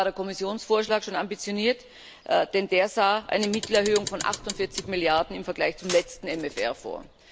Dabei war der Kommissionsvorschlag schon ambitioniert, denn der sah eine Mittelerhöhung von 48 Milliarden im Vergleich zum letzten MFR vor.